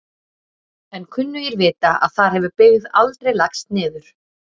En kunnugir vita að þar hefur byggð aldrei lagst niður.